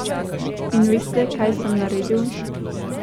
In veste, kaj sem naredil?